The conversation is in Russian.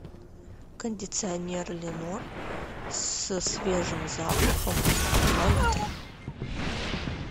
кондиционер ленор со свежим запахом два литра